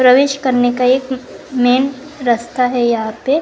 प्रवेश करने का एक मेन रास्ता है यहां पे।